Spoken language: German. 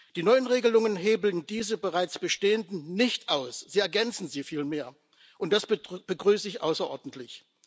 Die neuen Regelungen hebeln diese bereits bestehenden nicht aus, sie ergänzen sie vielmehr, und das begrüße ich außerordentlich.